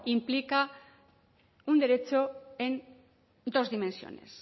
implica un derecho en dos dimensiones